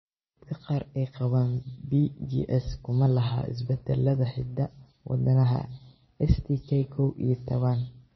Dadka qaar ee qaba PJS kuma laha isbeddellada hidda-wadaha STK kow iyo tawan.